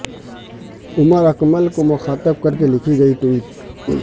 عمر اکمل کو مخاطب کر کے لکھی گئی ٹویٹ